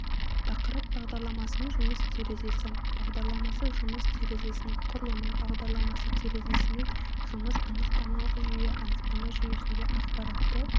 тақырып бағдарламасының жұмыс терезесі бағдарламасы жұмыс терезесінің құрылымы бағдарламасы терезесімен жұмыс анықтамалық жүйе анықтама жүйесінде ақпаратты